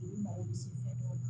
I bɛ mago bɛ sugunɛ dɔw la